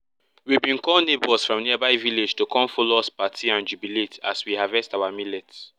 we bin call neighbors from nearby vilaages to come follow us party and jubilate as we harvest our millets